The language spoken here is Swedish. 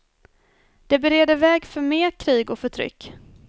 Det bereder väg för mer krig och förtryck.